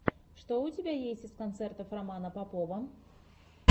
что у тебя есть из концертов романа попова